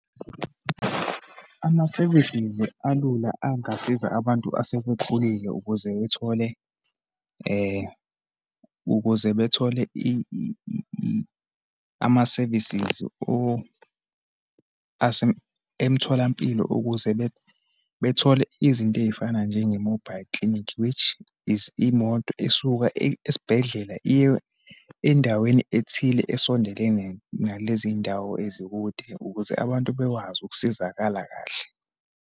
Amasevisisi alula angasiza abantu asebekhulile ukuze bethole ukuze bethole amasevisisi emtholampilo ukuze bethole izinto eyifana njenge-mobile clinic, which is imoto esuka esibhedlela iye endaweni ethile esondelene nalezi ndawo ezikude, ukuze abantu bekwazi ukusizakala kahle.